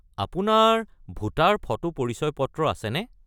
আপোনাৰ voter photo পৰিচয় পত্ৰ আছেনে?